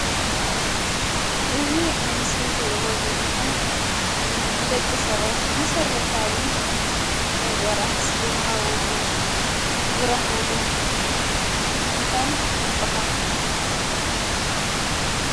እዚ አብ ምስሊ እትሪእዎ ዘለኹም ንደቂ ሰባት መሰረታዊ ነገራት ዝዋሃብሉ ዝረኽብሉ እንታይ ይባሃል ፡፡